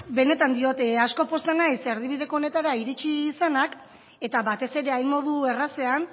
benetan diot asko pozten naiz erdibideko honetara iritsi izana eta batez ere hain modu errazean